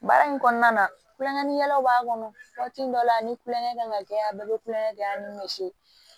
Baara in kɔnɔna na kulonkɛkɛlaw b'a kɔnɔ waati dɔ la ni kulonkɛ kan ka kɛ yan a bɛɛ be kulonkɛ kɛ yan ni mɛ si